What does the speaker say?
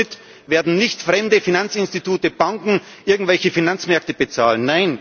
Den Schuldenschnitt werden nicht fremde Finanzinstitute, Banken, irgendwelche Finanzmärkte bezahlen.